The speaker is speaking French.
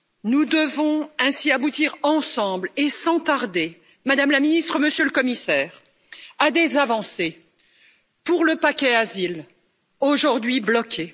Nous devons ainsi aboutir ensemble, et sans tarder, Madame la Ministre, Monsieur le Commissaire, à des avancées pour le paquet asile, aujourd'hui bloqué.